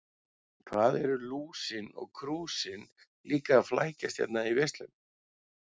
Hvað eru Lúsin og Krúsin líka að flækjast hérna í veislunni.